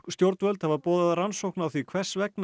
stjórnvöld hafa boðað rannsókn á því hvers vegna